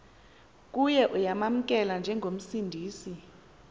kuye uyamamkela njengomsindisi